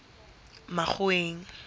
makgoweng